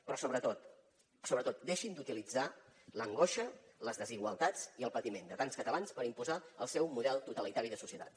però sobretot deixin d’utilitzar l’angoixa les desigualtats i el patiment de tants catalans per imposar el seu model totalitari de societat